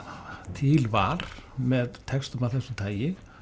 til var með textum af þessu tagi